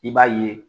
I b'a ye